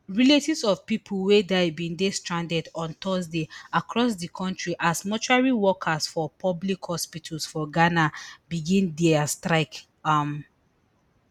relatives of pipo wey die bin dey stranded on thursday across di kontri as mortuary workers for public hospitals for ghana begin dia strike um